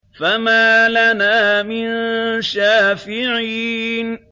فَمَا لَنَا مِن شَافِعِينَ